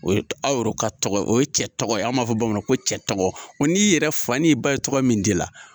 O ye aw yɛrɛ ka tɔgɔ ye, o ye cɛ tɔgɔ ye anw b'a fɔ bamanan ko cɛ tɔgɔ, o n'i yɛrɛ fa ye tɔgɔ min da i la.